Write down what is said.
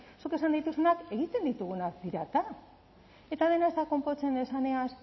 zuk esan dituzunak egiten ditugunak dira eta eta dena ez da konpontzen esanez